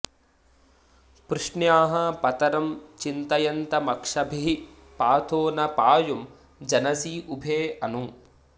पृश्न्याः॑ पत॒रं चि॒तय॑न्तम॒क्षभिः॑ पा॒थो न पा॒युं जन॑सी उ॒भे अनु॑